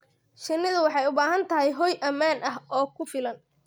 Shinnidu waxay u baahan tahay hoy ammaan ah oo ku filan.